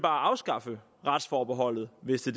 afskaffe retsforbeholdet hvis det